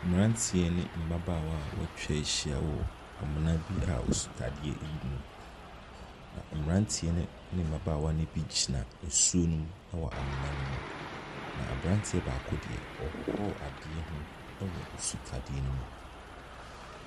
Mmeranteɛ ne mmabaawa a wɔatwa ahyia wɔ amena bi a sutadeɛ wɔ mu. Na mmeranteɛ no ne mmabaawa no bi gyina nsuo no mu wɔ amena no mu. Na aberanteɛ baako deɛ, ɔrehohoro adeɛ ho wɔ sutadeɛ no mu.